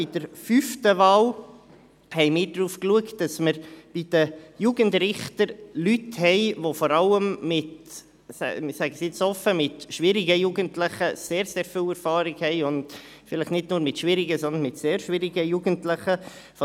Bei der fünften Wahl haben wir darauf geachtet, dass wir bei den Jugendrichtern Leute haben, die vor allem mit – ich sage es nun offen – schwierigen Jugendlichen sehr viel Erfahrung haben und vielleicht nicht nur mit schwierigen, sondern mit sehr schwierigen Jugendlichen.